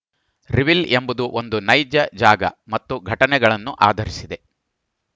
reveal ಎಂಬುದು ಒಂದು ನೈಜ ಜಾಗ ಮತ್ತು ಘಟನೆಗಳನ್ನು ಆಧರಿಸಿದೆ